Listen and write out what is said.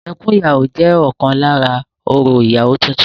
Ẹkún ìyàwó jẹ́ ọ̀kan lára orò ìyàwó titun